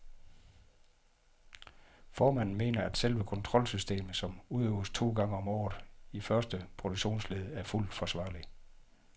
Formanden mener, at selve kontrolsystemet, som udøves to gange om året, i første produktionsled er fuldt forsvarlig.